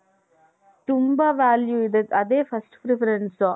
ತುಂಬಾ value ಇದೆ ಅದೆ first preference